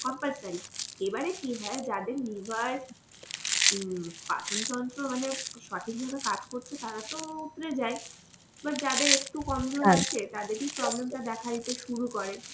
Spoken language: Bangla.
compulsory এবারে কি হয় যাদের liver উম পাচনতন্ত্র মানে সঠিকভাবে কাজ করছে তারা তো উৎরে যায় এবার যাদের একটু কমজোর আছে তাদেরকেই problem টা দেখা দিতে শুরু করে